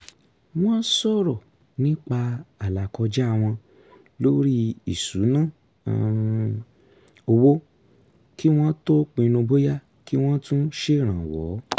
wọ́n sọ̀rọ̀ nípa àlàkọjá wọn lórí ìṣúnná um owó kí wọ́n tó pinnu bóyá kí wọ́n tún ṣèrànwọ́